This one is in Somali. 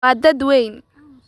Waa dad weyn.